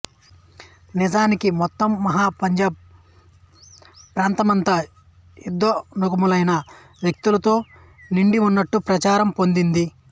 నిజానికి మొత్తం మహా పంజాబ్ ప్రాంతమంతా యుద్ధోన్ముఖులైన వ్యక్తులతో నిండివున్నట్టు ప్రచారం పొందింది